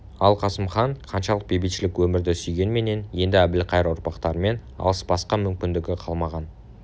ал қасым хан қаншалық бейбітшілік өмірді сүйгенменен енді әбілқайыр ұрпақтарымен алыспасқа мүмкіндігі қалмаған